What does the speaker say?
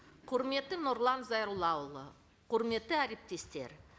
құрметті нұрлан зайроллаұлы құрметті әріптестер